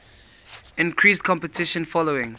increased competition following